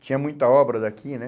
Tinha muita obra daqui né?